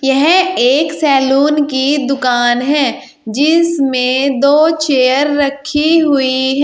यह एक सैलून की दुकान है जिसमें दो चेयर रखी हुई है।